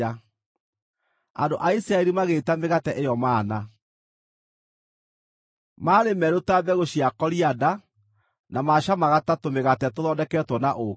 Andũ a Isiraeli magĩĩta mĩgate ĩyo mana. Maarĩ merũ ta mbegũ cia korianda, na maacamaga ta tũmĩgate tũthondeketwo na ũũkĩ.